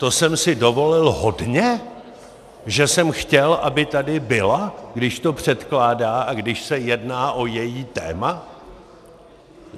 To jsem si dovolil hodně, že jsem chtěl, aby tady byla, když to předkládá a když se jedná o její téma?